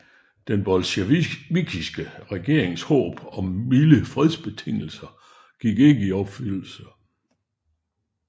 Den bolsjevikiske regerings håb om milde fredsbetingelser gik ikke i opfyldelse